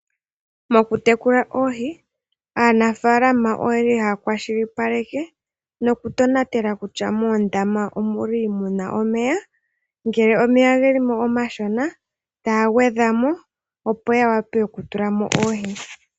Mokutekela oohi aanafaalama ohaya kwashilipaleke nokutonatela kutya moondama omu na omeya. Ngele omeya ogeli mo omashona , ohaya gwedhwa mo opo ya wape okutula mo oohi.